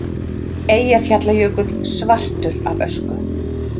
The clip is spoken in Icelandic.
eyjafjallajökull svartur af ösku